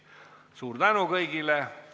Suur tänu kõigile!